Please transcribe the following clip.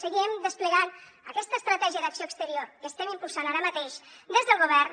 seguirem desplegant aquesta estratègia d’acció exterior que estem impulsant ara mateix des del govern